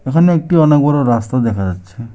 এখানে একটি অনেক বড়ো রাস্তা দেখা যাচ্ছে।